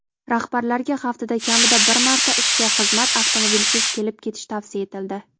Rahbarlarga haftada kamida bir marta ishga xizmat avtomobilisiz kelib-ketishi tavsiya etildi.